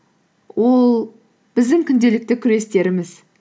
ол біздің күнделікті күрестеріміз